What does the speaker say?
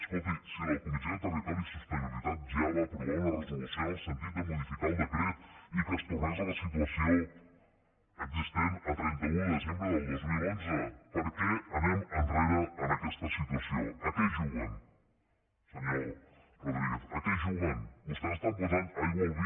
escolti si la comissió de territori i sostenibilitat ja va aprovar una resolució en el sentit de modificar el decret i que es tornés a la situació existent a trenta un de desembre del dos mil onze per què anem enrere en aquesta situació a què juguen senyor rodríguez a què juguen vostès estan posant aigua al vi